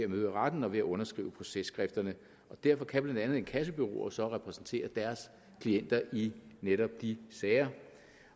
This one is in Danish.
retten og ved at underskrive processkrifterne og derfor kan blandt andet inkassobureauer så repræsentere deres klienter i netop de sager